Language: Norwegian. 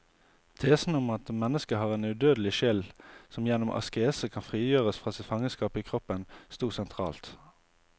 Tesen om at mennesket har en udødelig sjel som gjennom askese kan frigjøres fra sitt fangenskap i kroppen, stod sentralt.